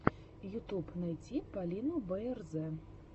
ютуб найти полину бээрзэ